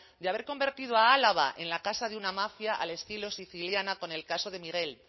de haber convertido a álava en la casa de una mafia al estilo siciliana con el caso de miguel